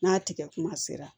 N'a tigɛ kuma sera